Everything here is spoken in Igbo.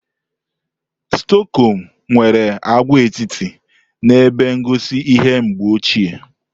Stokom nwere agwaetiti na ebe ngosi ihe mgbe ochie.